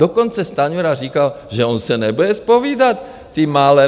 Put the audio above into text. Dokonce Stanjura říkal, že on se nebude zpovídat té Malé.